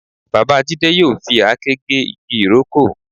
Bàbá Jídé yóò fi àáké gé igi ìrókò